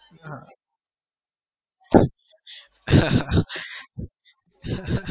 હા